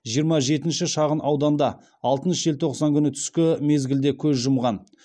жиырма жетінші шағынауданда алтыншы желтоқсан күні түскі мезгілде көз жұмған